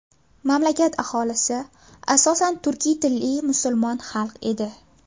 Mamlakat aholisi asosan turkiy tilli musulmon xalq edi.